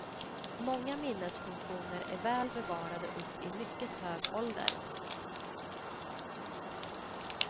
Många minnesfunktioner är väl bevarade upp i mycket hög ålder.